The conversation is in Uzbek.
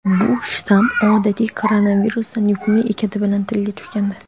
Bu shtamm odatiy koronavirusdan yuqumli ekani bilan tilga tushgandi.